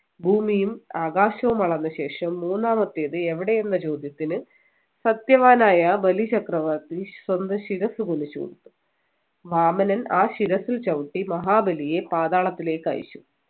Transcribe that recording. ഭൂമിയും ആകാശവും അളന്നശേഷം മൂന്നാമത്തേത് എവിടെ എന്ന് ചോദ്യത്തിന് സത്യവാനായ ബലി ചക്രവർത്തി സ്വന്തം ശിരസ്സ് കുനിച്ചു കൊടുത്തു വാമനൻ ആ ശിരസ്സിൽ ചവിട്ടി മഹാബലിയെ പാതാളത്തിലേക്ക് അയച്ചു